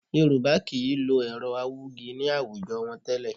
Yorùbá kì í lo ẹ̀rọ awúgi ní àwùjọ wọn tẹ́lẹ̀